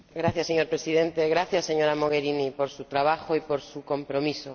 Señor Presidente, gracias, señora Mogherini, por su trabajo y por su compromiso.